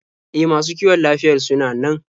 E, masu kiwon lafiyar sunan nan.